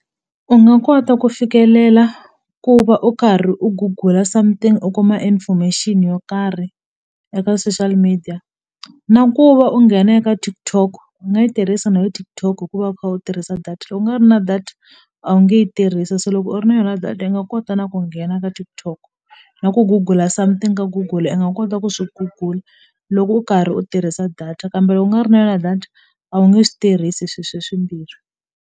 U nga kota ku fikelela ku va u karhi u Google something u kuma information yo karhi eka social media na ku va u nghena eka TikTok u nga yi tirhisa na yo TikTok hikuva u kha u tirhisa data loko u nga ri na data a wu nge yi tirhisi se loko u ri na yona data i nga kota na ku nghena ka TikTok na ku google something ka Google i nga kota ku swi google loko u karhi u tirhisa data kambe loko u nga ri na yona data a wu nge swi tirhisi swi swe swimbirhi.